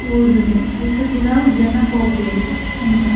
ಓಡುನೆ ಐತ ಪಿರವುಡು ಜನ ಪೋಪೆರ್ ಅಂಚ.